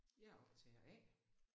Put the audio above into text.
Jeg er optager A